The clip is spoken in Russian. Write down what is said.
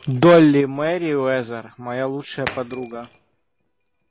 долли мерриуэзер моя лучшая подруга